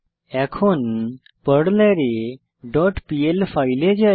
এখন পারলারে dot PL ফাইলে যাই